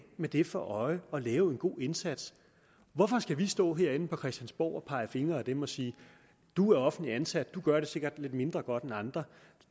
med det for øje at lave en god indsats hvorfor skal vi stå herinde på christiansborg og pege fingre ad dem og sige du er offentligt ansat du gør det sikkert lidt mindre godt end andre og